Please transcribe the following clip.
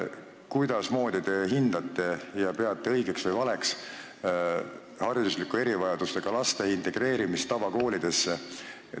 Kuidasmoodi te hindate ja kas te peate õigeks või valeks haridusliku erivajadusega laste integreerimist tavakooli?